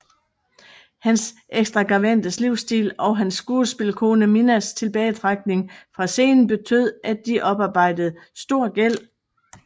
Hans ekstravagante livsstil og hans skuespillerkone Minnas tilbagetrækning fra scenen betød at de oparbejdede stor gæld